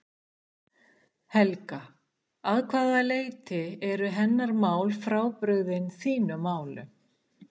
Helga: Að hvaða leyti eru hennar mál frábrugðin þínum málum?